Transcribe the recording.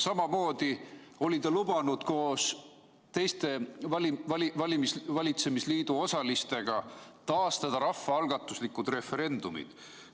Samamoodi oli ta lubanud koos teiste valitsemisliidu osalistega taastada rahvaalgatuslikud referendumid.